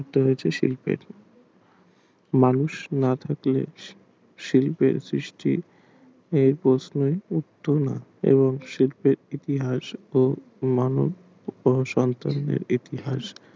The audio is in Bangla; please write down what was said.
শিল্পের মানুষ না থাকলে শিল্পের সৃষ্টির এবং শিল্পের ইতিহাস ও মানব ইতিহাস